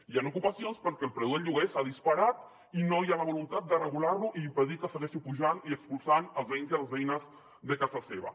hi han ocupacions perquè el preu del lloguer s’ha disparat i no hi ha la voluntat de regular lo i impedir que segueixi pujant i expulsant els veïns i les veïnes de casa seva